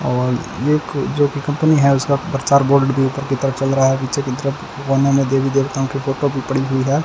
और ये खुद जो कि कंपनी है उसका प्रचार बोर्ल्ड के ऊपर की तरफ चल रहा है पीछे की तरफ देवी देवताओं की फोटो भी पड़ी हुई है।